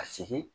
Ka segin